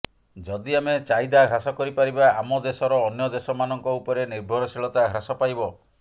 ଯଦି ଆମେ ଚାହିଦା ହ୍ରାସ କରିପାରିବା ଆମ ଦେଶର ଅନ୍ୟ ଦେଶମାନଙ୍କ ଉପରେ ନିର୍ଭରଶୀଳତା ହ୍ରାସ ପାଇବ